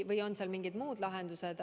Või on mingid muud lahendused.